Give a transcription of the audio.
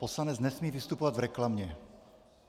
Poslanec nesmí vystupovat v reklamě.